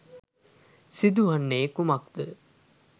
සිදුවන්නේ කුමක් ද?